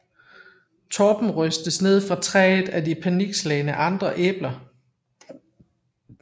Torben rystes ned fra træet af de panikslagne andre æbler